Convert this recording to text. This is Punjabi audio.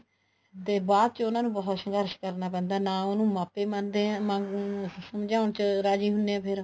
ਤੇ ਬਾਅਦ ਚ ਉਹਨਾ ਨੂੰ ਬਹੁਤ ਸੰਘਰਸ਼ ਕਰਨ ਪੈਂਦਾ ਨਾ ਉਹਨੂੰ ਮਾਪੇ ਮੰਨਦੇ ਆ ਅਮ ਸਮਝਾਉਣ ਚ ਰਾਜ਼ੀ ਹੁੰਦੇ ਆ ਫ਼ੇਰ